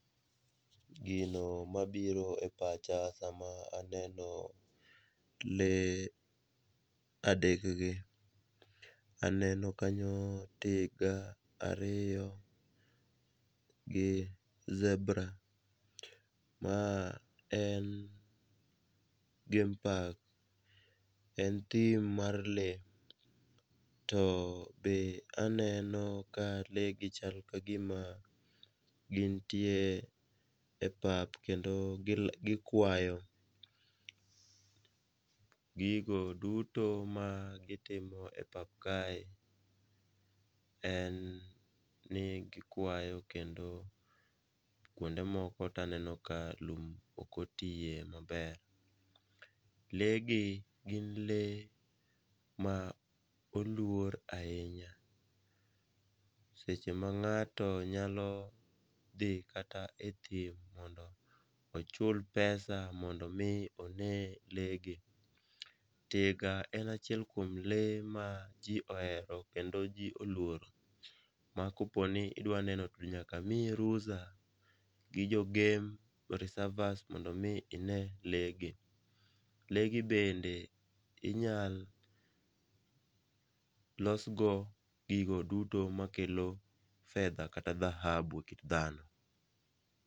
Gino mabiro e pacha sama aneno lee adekgi, aneno kanyo tiga ariyo, gi zebra ma en game park en thim mar lee to be aneno ka lee gi chal ka gima gintie e pap kendo gikwayo ,gigo duto ma gitimo e pap kae, en ni gikwayo kendo kwonde moko taneno ka lum ok otiye maber. Lee gi gin lee ma olwor ahinya, seche ma ng'ato nyalo dhi kata e thim mondo ochul pesa mondo omi one lee gi. tiga en achiel kuom lee ma jo ohero kendo ma ji olworo ma koponi idwa neno to nyaka miyi rusa gi jo game reservers mondo omi ine leegi. Leegi bende inyalolosgo gigo duto makelo fedha kata dhahabu e kit dhano.